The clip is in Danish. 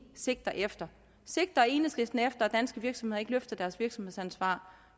sigter efter sigter enhedslisten efter at danske virksomheder ikke løfter deres virksomhedsansvar